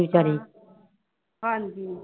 ਹਾਂਜੀ